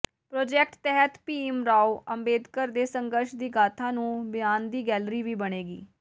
project ਤਹਿਤ ਭੀਮ ਰਾਓ ਅੰਬੇਦਕਰ ਦੇ ਸੰਘਰਸ਼ ਦੀ ਗਾਥਾ ਨੂੰ ਬਿਆਨਦੀ ਗੈਲਰੀ ਵੀ ਬਣੇਗੀ